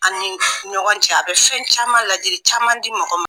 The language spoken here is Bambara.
Ani ɲɔgɔn cɛ a bɛ fɛn caman ladili caman di mɔgɔ ma